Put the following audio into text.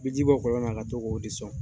bi ji bɔ kɔlɔn na ka to k'o o de sɔn.